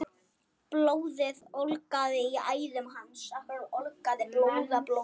Blóðið ólgaði í æðum hans.